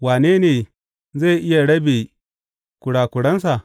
Wane ne zai iya rabe kurakuransa?